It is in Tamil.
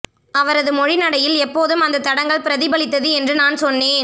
அவரது மொழிநடையில் எப்போதும் அந்த தடங்கல் பிரதிபலித்தது என்று நான் சொன்னேன்